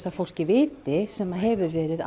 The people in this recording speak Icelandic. að fólk viti sem hefur verið